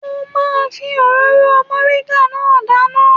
Mo máa ń fi òróró mọ̀ríńgà náà dáná